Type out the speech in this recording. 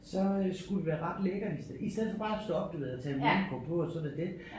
Så øh skulle det være ret lækkert i i stedet for bare at stå op du ved og tage en morgenkåbe på og så var det det